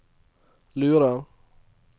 lurer